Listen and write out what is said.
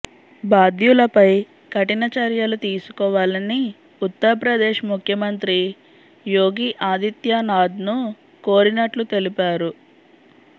బాధ్యులపై కఠిన చర్యలు తీసుకోవాలని ఉత్తరప్రదేశ్ ముఖ్యమంత్రి యోగి ఆదిత్యానాథ్ను కోరినట్లు తెలిపారు